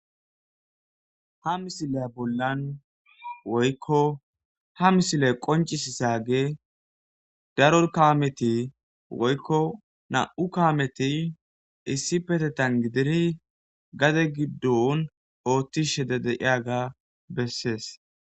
ha misile bollan woykko ha misile qoncis issaage daror kawameti woykko na7u kawameti issi petetan gidiri gade giddon ooththishede deiyaga bessees